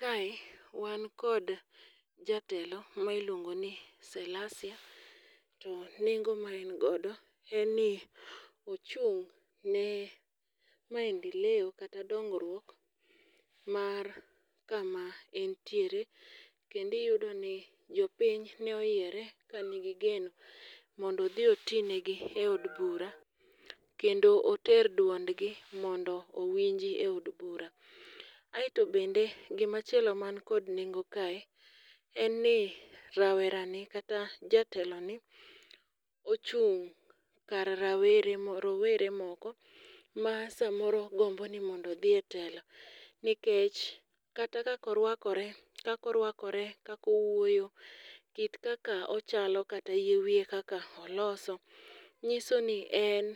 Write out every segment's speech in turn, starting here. Kae, wan kod jatelo mailungo ni Salasia, to nengo ma en godo, en ni ochung' ne maendeleo kata dongruok mar kama entiere. Kendo iyudo ni jopiny ne oyiere kanigi geno mondo odhi oti negi e od bura. Kendo oter duondgi mondo owinji eod bura. Aeto bende, gimachielo man kod nengo kae en ni rawerani kata jatelo ni, ochung' kar rawere rowere moko ma samoro gombo ni mondo dhi etelo. Nikech, kata kakorwakore, kakorwakore kakowuoyo, kit kaka ochalo kata yie wie kaka oloso. Nyiso ni en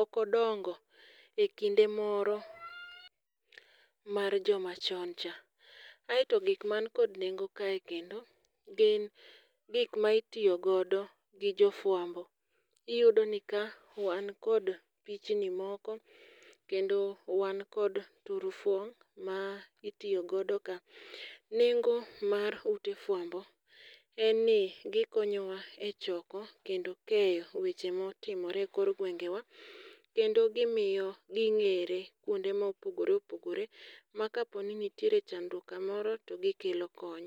okodongo e kinde moro mar joma choncha. Aeto gikman kod nengo kae kendo, gin gikma itiyo godo gi jofwambo. Iyudo ni ka wan kod pichni moko, kendo wan kod turufo ma itiyo godo ka. Nengo mar ute fwambo, en ni gikonyowa echoko kendo keyo weche motimore kor gweng'wa, kendo gimiyo gi ng'ere kuonde mopogore opogore, ma kapo ni nitiere chandruok kamoro to gikelo kony.